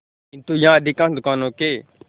किंतु यहाँ अधिकांश दुकानों के